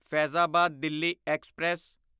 Faizabad Delhi express